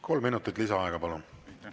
Kolm minutit lisaaega, palun!